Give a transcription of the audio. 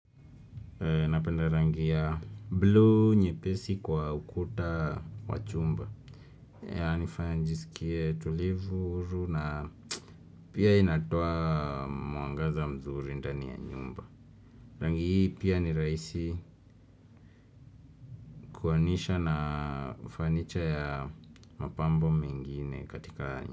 Napenda rangi ya blue nyepesi kwa ukuta wa chumba. Yanifanya njisikie tulivu, huru na pia inatoa mwangaza mzuri ndani ya nyumba. Rangi hii pia ni rahisi kuanisha na fanicha ya mapambo mengine katika.